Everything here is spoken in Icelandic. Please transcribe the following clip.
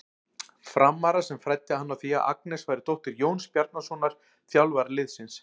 Frammara sem fræddi hann á því að Agnes væri dóttir Jóns Bjarnasonar, þjálfara liðsins.